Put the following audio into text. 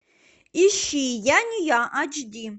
ищи я не я ач ди